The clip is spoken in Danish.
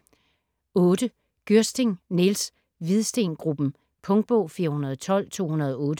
Gyrsting, Niels: Hvidsten Gruppen Punktbog 412208